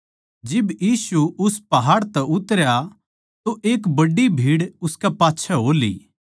जिब यीशु उस पहाड़ तै उतरा तो एक बड्डी भीड़ उसके पाच्छै हो ली